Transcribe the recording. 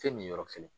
Fɛn min yɔrɔ kɛlɛ